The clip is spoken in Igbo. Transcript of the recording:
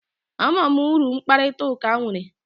Ama m uru mkparịta ụka nwere